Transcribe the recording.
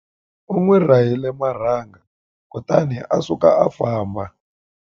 U n'wi rahile marhanga kutani a suka a famba.